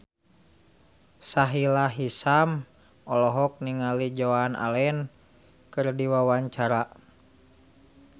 Sahila Hisyam olohok ningali Joan Allen keur diwawancara